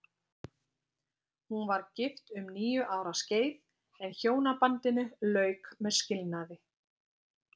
Hún var gift um níu ára skeið, en hjónabandinu lauk með skilnaði.